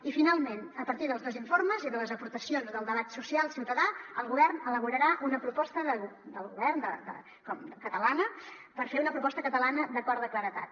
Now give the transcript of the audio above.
i finalment a partir dels dos informes i de les aportacions del debat social ciutadà el govern elaborarà una proposta del govern catalana per fer una proposta catalana d’acord de claredat